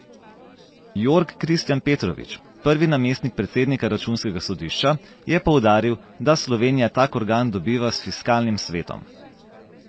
Jorg Kristijan Petrovič, prvi namestnik predsednika računskega sodišča, je poudaril, da Slovenija tak organ dobiva s fiskalnim svetom.